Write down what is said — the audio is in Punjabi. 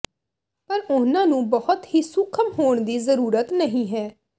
ਪਰ ਉਨ੍ਹਾਂ ਨੂੰ ਬਹੁਤ ਹੀ ਸੂਖਮ ਹੋਣ ਦੀ ਜ਼ਰੂਰਤ ਨਹੀਂ ਹੈ